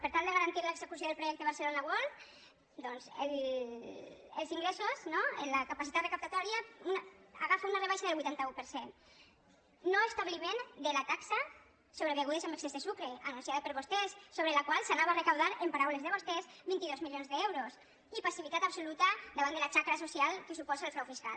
per tal de garantir l’execució del projecte barcelona world doncs els ingressos no la capacitat recaptatòria agafa una rebaixa del vuitanta un per cent no establiment de la taxa sobre begudes amb excés de sucre anunciada per vostès sobre la qual s’anava a recaptar en paraules de vostès vint dos milions d’euros i passivitat absoluta davant de la xacra social que suposa el frau fiscal